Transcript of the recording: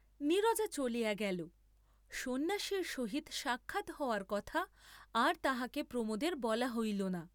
নীরজা চলিয়া গেল, সন্ন্যাসীর সহিত সাক্ষাৎ হওয়ার কথা আর তাহাকে প্রমোদের বলা হইল না।